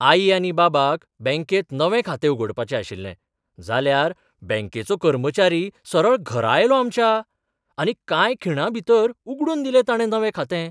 आई आनी बाबाक बँकेंत नवें खातें उगडपाचें आशिल्लें. जाल्यार, बँकेचो कर्मचारी सरळ घरा आयलो आमच्या, आनी कांय खिणांभीतर उगडून दिलें ताणें नवें खातें!